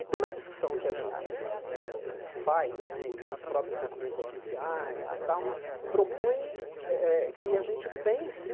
E toda a discussão que a gente eh faz né e os próprios documentos oficiais propõem eh eh que a gente pense